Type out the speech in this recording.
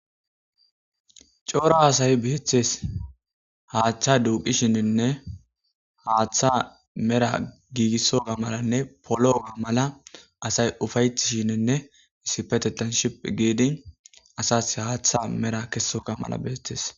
Cora asay bettes haththa duqqishininne haththa mela asay ufayetishininne issippetetethan shiphi giddi asa haththa gesogay bettes.